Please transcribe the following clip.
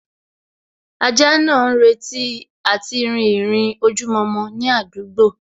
Ajá náà ń retí àti rìn ìrìn ojojúmọ́ ní àdúgbò